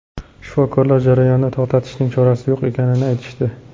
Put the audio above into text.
Shifokorlar jarayonni to‘xtatishning chorasi yo‘q ekanini aytishdi.